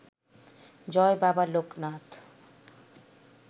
Joy Baba Loknath